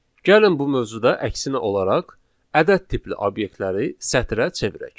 Gəlin bu mövzuda əksinə olaraq ədəd tipli obyektləri sətrə çevirək.